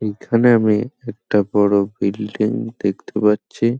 এ-এ-খানে আমি একটা বড় বিল্ডিং দেখতে পাচ্ছি ।